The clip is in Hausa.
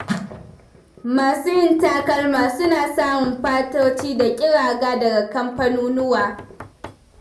Masu yin takalma suna samun fatoci da ƙiraga daga kamfanunuwa.